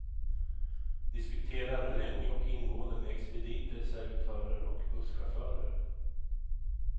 Diskuterar länge och ingående med expediter, servitörer och busschaufförer.